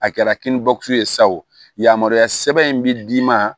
A kɛra kini bɔ kun ye sa o yamaruya sɛbɛn in bi d'i ma